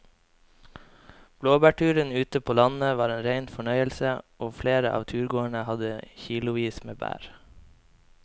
Blåbærturen ute på landet var en rein fornøyelse og flere av turgåerene hadde kilosvis med bær.